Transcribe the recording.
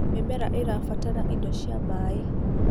mĩmera ĩrabatara indo cia maĩ